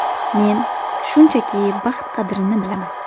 Men, shunchaki, baxt qadrini bilaman.